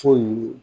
Fo